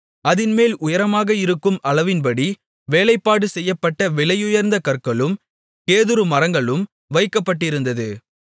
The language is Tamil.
அதின்மேல் உயரமாக இருக்கும் அளவின்படி வேலைப்பாடு செய்யப்பட்ட விலையுயர்ந்த கற்களும் கேதுரு மரங்களும் வைக்கப்பட்டிருந்தது